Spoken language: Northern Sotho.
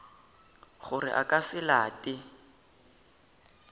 gore a ka se late